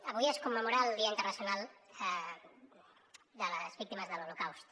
avui es commemora el dia internacional en memòria de les víctimes de l’holocaust